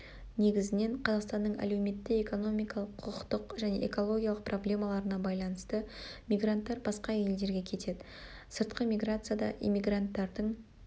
негізінен қазақстанның әлеуметтік-экономикалық құқықтық және экологиялық проблемаларына байланысты мигранттар басқа елдерге кетеді сыртқы миграцияда иммигранттардың